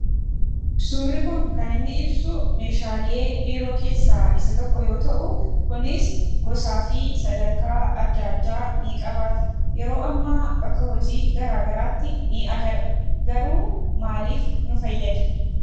Suurri kun kan inni ibsu meeshaalee biiroo keessaa isa tokko yoo ta'uu, kunis gosaafi sadarkaa adda addaa ni qabaatu. Yeroo ammaa bakka hojii garagaraatti ni agarra garuu maaliif nu fayyada?